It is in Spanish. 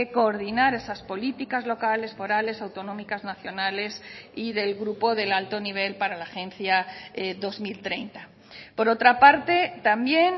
coordinar esas políticas locales forales autonómicas nacionales y del grupo del alto nivel para la agencia dos mil treinta por otra parte también